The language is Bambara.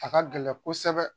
A ka gɛlɛn kosɛbɛ.